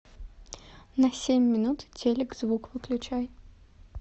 на семь минут телик звук выключай